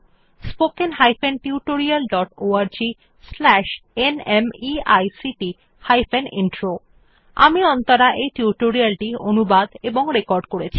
spoken hyphen tutorial dot org slash ন্মেইক্ট hyphen intro আমি অন্তরা এই টিউটোরিয়াল টি অনুবাদ এবং রেকর্ড করেছি